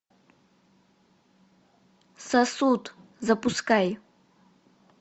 сосуд запускай